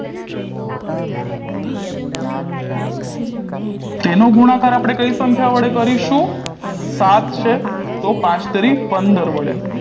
તેનો ગુણાકાર આપણે કઈ સંખ્યા વડે કરીશું સાત છે તો પાંચ તેરી પંદર વડે